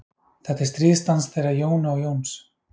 Þetta er stríðsdans þeirra Jónu og Jóns.